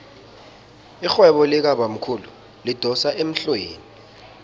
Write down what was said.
irhwebo likabamkhulu lidosa emhlweni